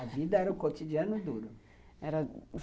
A vida era o cotidiano duro.